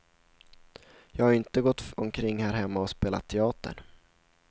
Jag har ju inte gått omkring här hemma och spelat teater.